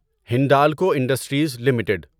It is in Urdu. Hindalco industries limited